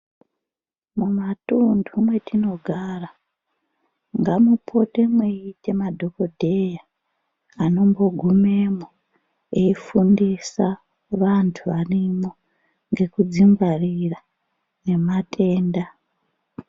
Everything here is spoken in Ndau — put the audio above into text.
Mumatuntu mwetinogara ngamupote mweite madhokodheya anombogumwemo anofundisa vantu varimwo ngekudzingwarira ngematenda .